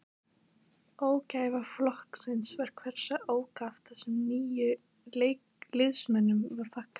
Ógæfa flokksins var hversu ákaft þessum nýju liðsmönnum var fagnað.